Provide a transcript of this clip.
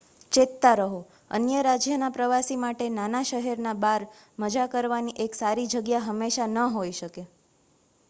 ચેતતા રહો અન્ય રાજ્યના પ્રવાસી માટે નાના શહેરના બાર મજા કરવાની એક સારી જગ્યા હંમેશા ન હોય શકે